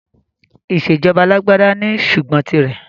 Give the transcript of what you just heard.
Ìsèjọba alàgbàda ní ṣùgbọ́n tì rẹ̀.